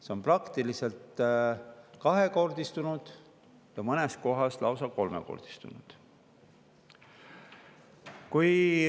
See on praktiliselt kahekordistunud ja mõnes kohas lausa kolmekordistunud.